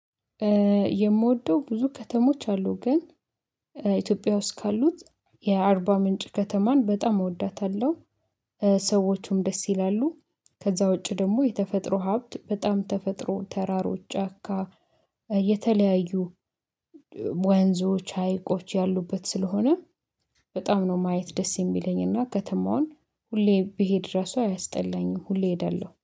የምወደው ብዙ ከተሞች አሉ ግን ኢትዮጵያ ውስጥ ካሉት የአርባ ምንጭ ከተማን በጣም እወዳታለሁ። ሰዎቹም ደስ ይላሉ ከዛ ውጪ ደግሞ የተፈጥሮ ሀብት በጣም ተፈጥሮ ተራሮች ጫካ። የተለያዩ ወንዞች ሀይቆች ያሉበት ስለሆነ። በጣም ነው ማየት ደስ የሚለኝና ከተማውን ሁሌ ብሄድ ራሱ አያስጠላኝም ሁሌ እሄዳለሁ